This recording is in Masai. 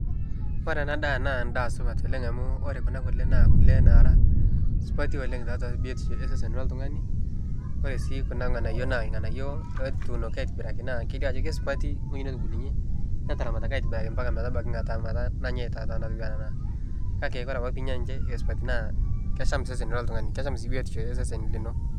Ore enadaa naa endaa supat oleng' amu ore Kuna kule naa kule nara supati oleng' naata biotisho osesen loltungani ore sii Kuna nganayio naa nganayio natunoki aitobiraki naa kelio ajo kesupati wei netum netubuluyie netaramataki aitobira embaka ematabaiki netangata nanya taa kake ore piinya naa ninche kesupati kesham esesen loltungani kesham sii biotisho esesen lino .